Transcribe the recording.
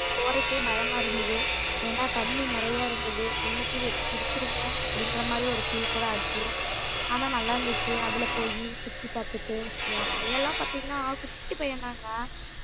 போறதுக்கே பயமா இருந்தது ஏன்னா தண்ணி நிறைய இருந்தது உள்ளகீது எட்டி குதிச்சுருவோமோ அப்படிங்கிற மாதிரி ஒரு feel கூட ஆச்சு ஆனா நல்லாருந்துச்சு அதுல போயி சுத்தி பாத்துட்டு என் பையன் எல்லாம் பாத்தீங்கன்னா குட்டி பையன்தாங்க